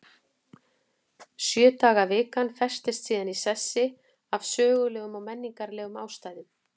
Sjö daga vikan festist síðan í sessi af sögulegum og menningarlegum ástæðum.